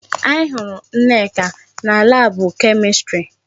Anyị hụrụ Nneka na laabụ Kemistri.